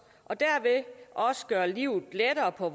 og derved også gøre livet lettere på